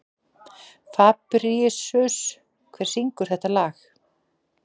Fabrisíus, hver syngur þetta lag?